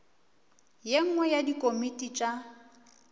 ye nngwe ya dikomiti tša